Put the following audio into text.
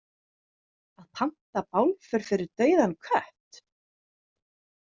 Að panta bálför fyrir dauðan kött?